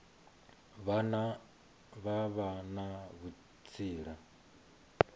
vhane vha vha na vhutsila